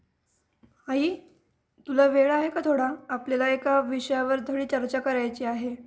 आई तुला वेळ आहे का थोडा ? आपल्याला एका विषयावरती थोडी चर्चा करायची आहे.